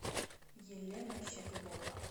елена щеглова